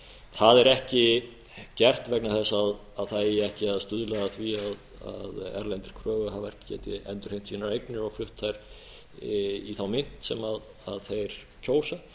það er ekki gert vegna þess að það eigi ekki að stuðla að því að erlendir kröfuhafar geti endurheimt sínar eignir og flutt þær í þá mynt sem þeir kjósa